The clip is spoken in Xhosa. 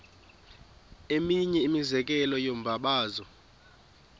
eminye imizekelo yombabazo